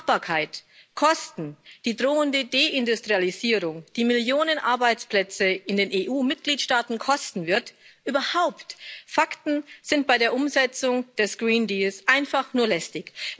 Machbarkeit, Kosten, die drohende Deindustrialisierung, die Millionen Arbeitsplätze in den EU Mitgliedstaaten kosten wird, überhaupt Fakten sind bei der Umsetzung des einfach nur lästig.